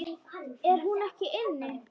Er hún ekki inni?